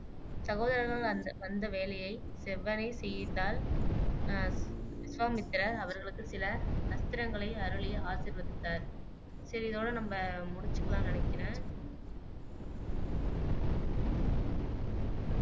சகோதரர்கள் வந்த் வந்த வேலையை செவ்வனே செய்தால் அஹ் விசுவாமித்திரர் அவர்களுக்கு சில அஸ்திரங்களை அருளி ஆசிர்வதித்தார் சரி இதோட நம்ப முடிச்சுக்கலான்னு நினைக்கிறேன்